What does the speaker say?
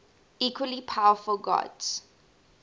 equally powerful gods